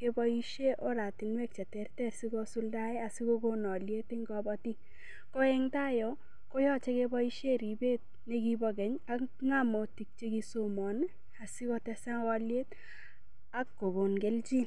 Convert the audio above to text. keboishe oratinwek cheterter sikosuldae asikokon oliet eng' kobatik ko eng' tai yo koyochei keboishe ribet nekibo Kenya ak ng'omotik chekisomon asikotesak oliet akokon keljin